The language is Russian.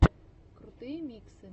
крутые миксы